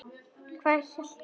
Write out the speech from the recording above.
Hvað ég hélt um hann?